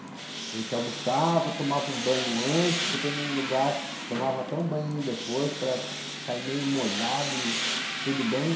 A gente almoçava, tomava um banho antes, dependendo do lugar, tomava até um banho depois para sair meio molhado e tudo bem.